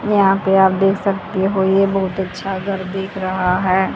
यहां पे आप देख सकते हो ये बहोत अच्छा घर देख रहा है।